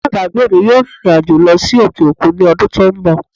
Alábàágbé mi yóò rìnrìn àjò lọ sí òkè òkun ní ọdún tó ń bọ̀